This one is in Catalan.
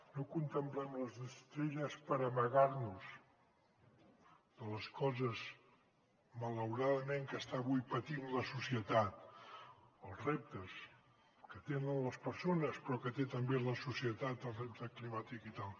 no contemplem les estrelles per amagar nos de les coses malauradament que està avui patint la societat els reptes que tenen les persones però que té també la societat el repte climàtic i tal